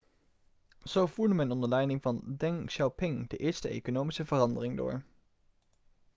zo voerde men onder leiding van deng xiaoping de eerste economische veranderingen door